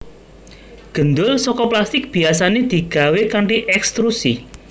Gendul saka plastik biyasané digawé kanthi ekstrusi